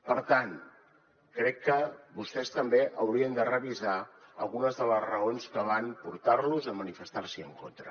per tant crec que vostès també haurien de revisar algunes de les raons que van portarlos a manifestars’hi en contra